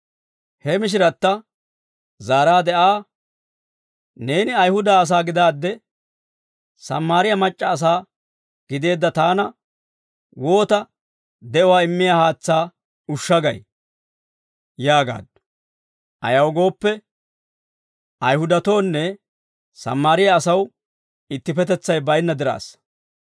He Mishiratta zaaraade Aa, «Neeni Ayihuda asaa gidaadde, Sammaariyaa mac'c'a asaa gideedda taana, woota de'uwaa immiyaa haatsaa ushsha gay?» yaagaaddu; ayaw gooppe, Ayihudatoonne Sammaariyaa asaw ittipetetsay baynna diraassa.